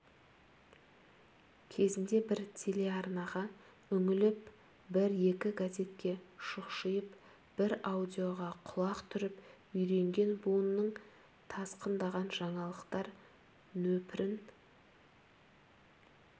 кезінде бір телеарнаға үңіліп бір-екі газетке шұқшиып бір радиоға құлақ түріп үйренген буынның тасқындаған жаңалықтар нөпірін